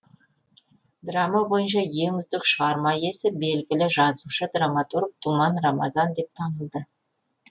драма бойынша ең үздік шығарма иесі белгілі жазушы драматург думан рамазан деп танылды